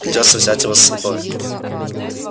придётся взять его с собой